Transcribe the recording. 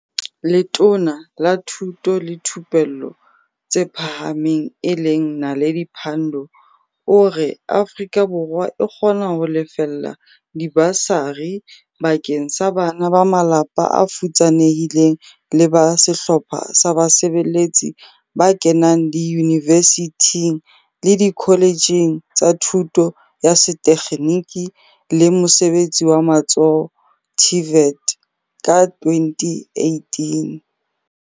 Letona la Thuto le Thupello tse Pha hameng e leng Na ledi Pandor o re Afrika Borwa e kgona ho lefella dibasari bakeng sa bana ba malapa a futsanehileng le ba sehlopha sa basebeletsi ba kenang diyunivesithing le dikholetjheng tsa Thuto ya Setekgeniki le Mosebe tsi wa Matsoho, TVET, ka 2018.